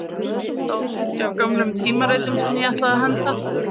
Þar var bunki af gömlum tímaritum sem ég ætlaði að henda